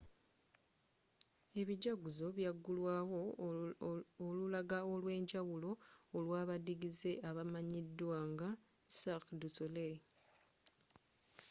ebijaguzo byagulwaawo olulaga olwenjawulo olwabadiigize abamanyidwa nga cirque du soleil